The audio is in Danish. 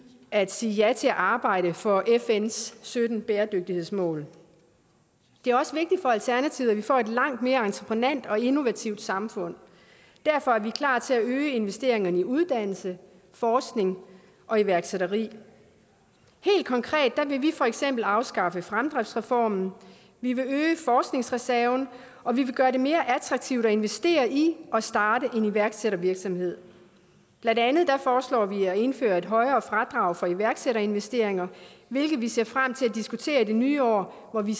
at sige ja til at arbejde for fns sytten bæredygtighedsmål det er også vigtigt for alternativet at vi får et langt mere entreprenant og innovativt samfund derfor er vi klar til at øge investeringerne i uddannelse forskning og iværksætteri helt konkret vil vi for eksempel afskaffe fremdriftsreformen vi vil øge forskningsreserven og vi vil gøre det mere attraktivt at investere i og starte en iværksættervirksomhed blandt andet foreslår vi at indføre et højere fradrag for iværksætterinvesteringer hvilket vi ser frem til at diskutere i det nye år hvor vi